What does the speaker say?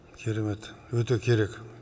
керемет өте керек